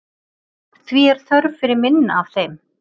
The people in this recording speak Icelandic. Því er þörf fyrir minna af þeim.